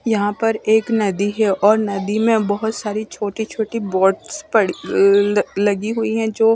यहाँ पर एक नदी है और नदी में बहुत सारी चोटी चोटी बोटस पड़ी लगी हुई है जो--